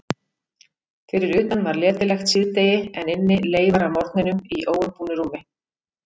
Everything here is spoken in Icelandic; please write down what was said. Fyrir utan var letilegt síðdegi en inni leifar af morgninum í óumbúnu rúmi.